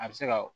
A bɛ se ka